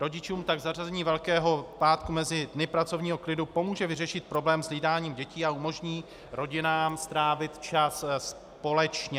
Rodičům tak zařazení Velkého pátku mezi dny pracovního klidu pomůže vyřešit problém s hlídáním dětí a umožní rodinám strávit čas společně.